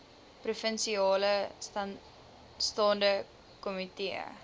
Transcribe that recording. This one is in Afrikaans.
provinsiale staande komitee